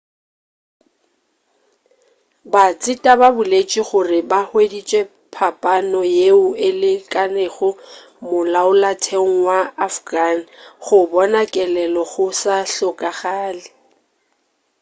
batseta ba boletše gore ba hweditše phapano yeo e lekanego molaotheong wa afghan go bona kelelo go sa hlokagale